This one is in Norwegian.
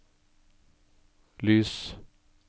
lys